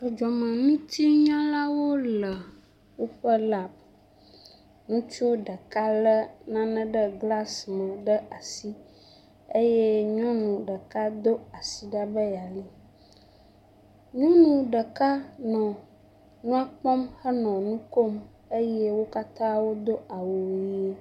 Dzɔdzɔmeŋutinyalawo le woƒe labu. Ŋutsu ɖeka lé nane ɖe glasi me ɖe asi eye nyɔnu ɖeka do asi ɖa me yeali. Nyɔnu ɖeka nɔ nua kpɔm henɔ nu kom eye wo katã wodo awu ʋiwo.